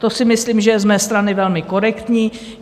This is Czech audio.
To si myslím, že je z mé strany velmi korektní.